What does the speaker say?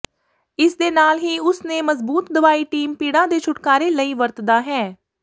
ਇਸ ਦੇ ਨਾਲ ਹੀ ਉਸ ਨੇ ਮਜ਼ਬੂਤ ਦਵਾਈ ਟੀਸ ਪੀੜਾ ਦੇ ਛੁਟਕਾਰੇ ਲਈ ਵਰਤਦਾ ਹੈ